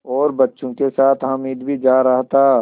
और बच्चों के साथ हामिद भी जा रहा था